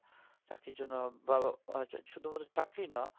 চাকরির জন্য বা বা শুধু মাত্র চাকরিই না